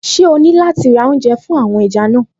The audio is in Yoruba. Ṣé o ní láti ra oúnjẹ fún àwọn ẹja náà?